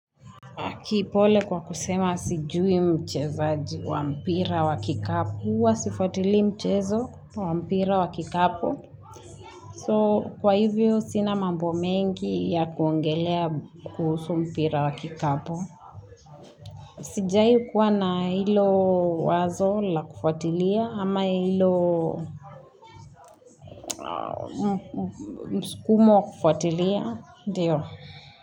Kipole kwa kusema sijui mchezaji wa mpira wa kikapu. Uwa sifuatili mchezo wa mpira wa kikapu. So kwa hivyo sina mambo mengi ya kuongelea kuhusu mpira wa kikapu. Sijai kuwa na hilo wazo la kufuatilia ama hilo mskumo wa kufuatilia. Dio.